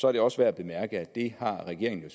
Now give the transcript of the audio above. er det også værd at bemærke at det har regeringen